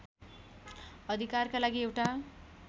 अधिकारका लागि एउटा